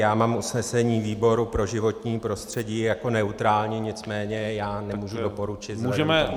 Já mám usnesení výboru pro životní prostředí jako neutrální, nicméně já nemůžu doporučit.